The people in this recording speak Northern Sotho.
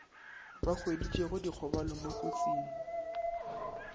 ba hweditšego dikgobalo mo dikotsing